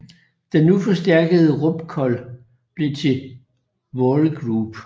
Den nu forstærkede Robcol blev til Walgroup